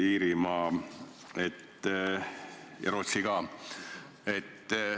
– Iirimaa ja Rootsi ka.